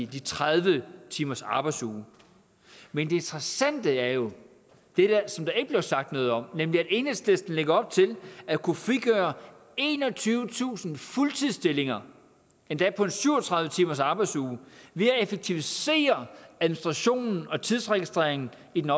de tredive timers arbejdsuge men det interessante er jo det som der ikke blev sagt noget om nemlig at enhedslisten lægger op til at kunne frigøre enogtyvetusind fuldtidsstillinger endda på en syv og tredive timers arbejdsuge ved at effektivisere administrationen og tidsregistreringen i den